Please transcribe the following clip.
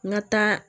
N ka taa